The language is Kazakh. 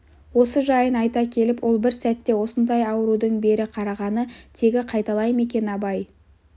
осы жайын айта келіп ол бір сәтте осындай аурудың бері қарағаны тегі қайталай ма екен абай